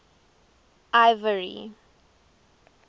ivory